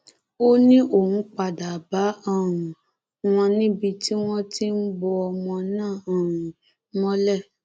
ó ní òun padà bá um wọn níbi tí wọn ti ń bo ọmọ náà um mọlẹ